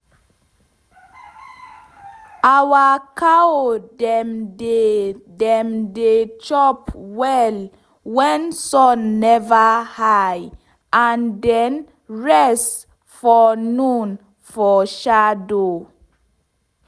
our cow dem dey dem dey chop well wen sun never high and den rest from noon for shadow.